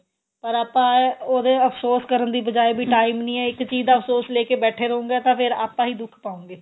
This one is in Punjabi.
ਪਰ ਆਪਾਂ ਉਹਦੇ ਅਫਸੋਸ ਕਰਨ ਦੀ ਬਜਾਏ ਵੀ time ਨੀ ਏ ਇੱਕ ਚੀਜ ਦਾ ਅਫਸੋਸ ਲੈ ਕੇ ਬੈਠੇ ਰਹੋਗੇ ਤਾਂ ਫੇਰ ਆਪਾਂ ਹੀ ਦੁੱਖ ਪਾਉਗੇ